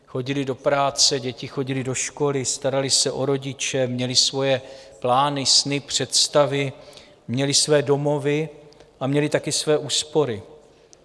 Chodili do práce, děti chodily do školy, starali se o rodiče, měli svoje plány, sny, představy, měli své domovy a měli také své úspory.